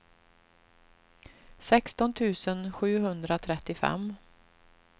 sexton tusen sjuhundratrettiofem